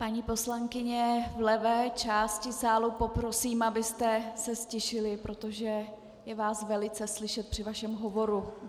Paní poslankyně v levé části sálu, poprosím, abyste se ztišily, protože je vás velice slyšet při vašem hovoru.